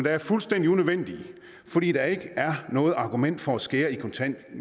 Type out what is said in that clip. er fuldstændig unødvendige fordi der ikke er noget argument for at skære